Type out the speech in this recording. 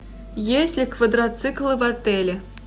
есть ли квадроциклы в отеле